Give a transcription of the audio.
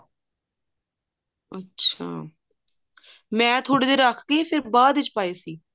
ਅੱਛਾ ਮੈਂ ਥੋੜੀ ਦੇਰ ਰੱਖ ਕੇ ਬਾਦ ਵਿੱਚ ਪਾਏ ਸੀ